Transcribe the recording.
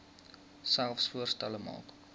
selfs voorstelle maak